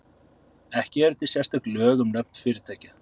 Ekki eru til sérstök lög um nöfn fyrirtækja.